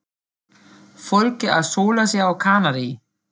Fólkið að sóla sig á Kanarí.